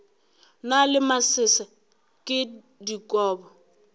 na le masese ke dikobo